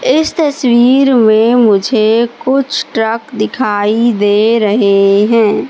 इस तस्वीर में मुझे कुछ ट्रक दिखाई दे रहे हैं।